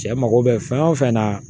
Cɛ mago bɛ fɛn o fɛn na